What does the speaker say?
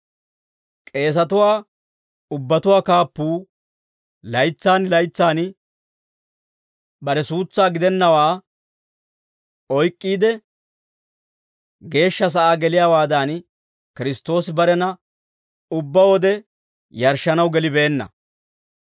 K'eesatuwaa ubbatuwaa kaappuu laytsaan laytsaan bare suutsaa gidennawaa oyk'k'iide, Geeshsha sa'aa geliyaawaadan, Kiristtoosi barena ubbaade yarshshanaw gelibeenna.